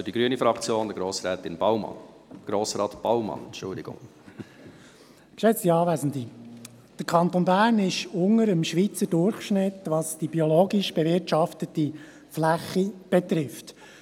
Der Kanton Bern liegt unter dem Schweizer Durchschnitt, was die biologisch bewirtschaftete Fläche betrifft.